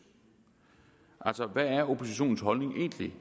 altså hvad er oppositionens holdning egentlig